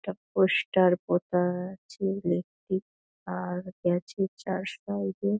একটা পোস্টার পোতা আছে লেফ্ট -এ আর গেছে চার সাইড -এ ।